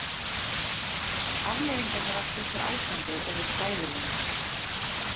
Afleiðingarnar af þessu ástandi eru hræðilegar.